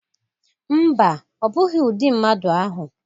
Mba o. Ọ bụghi udị mmadụ ahụ